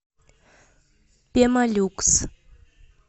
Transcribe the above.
пемолюкс